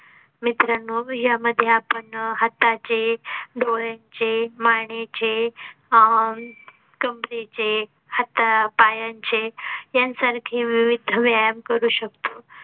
मित्रांनो, यामध्ये आपण हाता चे डोळ्यांचे मानेचे अह कमरेचे चे हातापायांचे यांसारखी विविध व्यायाम करू शकतो